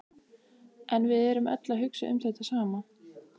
En við erum öll að hugsa um þetta sama.